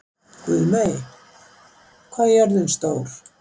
Guðmey, hvað er jörðin stór?